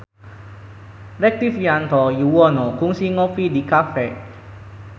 Rektivianto Yoewono kungsi ngopi di cafe